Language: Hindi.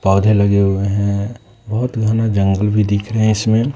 पौधे लगे हुए हैं बहुत घना जंगल भी दिख रहे हैं इसमें।